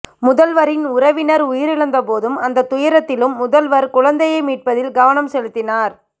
முதல்வரின் உறவினர் உயிரிழந்தபோதும் அந்த துயரத்திலும் முதல்வர் குழந்தையை மீட்பதில் கவனம் செலுத்தினார்